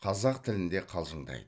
қазақ тілінде қалжыңдайды